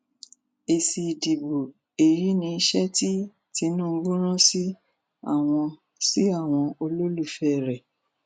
èsì ìdìbò èyí ni iṣẹ tí tinubu rán sí àwọn sí àwọn olólùfẹ rẹ